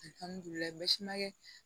Alihamudulila n b'a kɛ